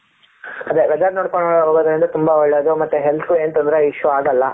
ಅದೇ weather ನೋಡ್ಕೊಂಡು ಹೋದ್ರೇನೇ ತುಂಬಾ ಒಳ್ಳೆಯದು ಮತ್ತೆ health ಗು ಏನ್ ತೊಂದರೆ issue ಆಗಲ್ಲ.